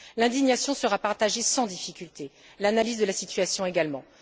L'indignation sera partagée sans difficulté, l'analyse de la situation également.